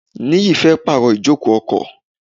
Niyi fẹ́ pàrọ̀ ijoko ọkọ̀.